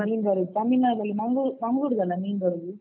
ಮೀನ್ ಬರುದು ತಮಿಳ್ನಾಡಲ್ಲಿ ಮಂಗ್ಳೂ~ ಮಂಗ್ಳೂರಿದಲ್ಲ ಮೀನ್ ಬರುದು?